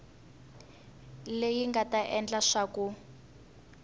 leyi nga ta endla leswaku